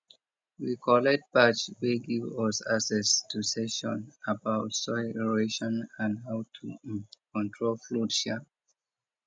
we collect badge wey give us access to session about soil erosion and how to um control flood um